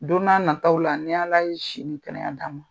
Don n'a nataw la. Ni ala ye si ni kɛnɛya d'aw ma.